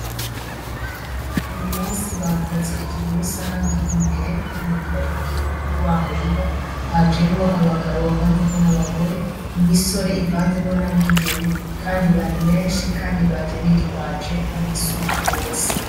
Uyumunsi bakoze ikivi rusangi imbere y'imuhira kuri wa murima hajemo abagabo bavanzemwo n'abagore, imisore ivanzemwo na bigeme kandi bari benshi kandi baje bitwaje amasuka bose.